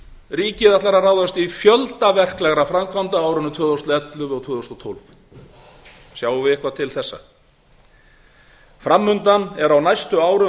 ríkið ætlar að ráðast í fjölda verklegra framkvæmda á árinu tvö þúsund og ellefu og tvö þúsund og tólf sjáum við eitthvað til þessa framundan er á næstu árum